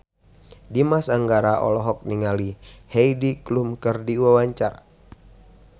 Dimas Anggara olohok ningali Heidi Klum keur diwawancara